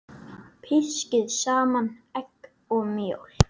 Pískið saman egg og mjólk.